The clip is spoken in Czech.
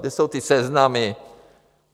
Kde jsou ty seznamy?